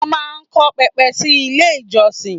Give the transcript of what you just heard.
Wọ́n máa ń kọ́ pẹpẹ sí ilé ìjọsìn.